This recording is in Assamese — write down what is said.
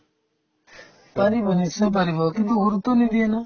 পাৰিব নিশ্চয় পাৰিব কিন্তু নিদিয়ে না